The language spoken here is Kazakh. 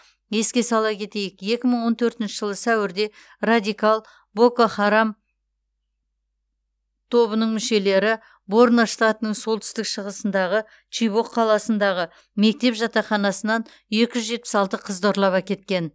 еске сала кетейік екі мың он төртінші жылы сәуірде радикал боко харам тобының мүшелері борно штатының солтүстік шығысындағы чибок қаласындағы мектеп жатақханасынан екі жүз жетпіс алты қызды ұрлап әкеткен